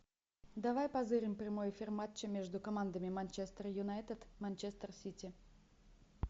давай позырим прямой эфир матча между командами манчестер юнайтед манчестер сити